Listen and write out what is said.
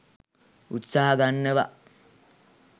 උත්සාහ ගන්නවා.